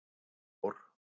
Ég fór.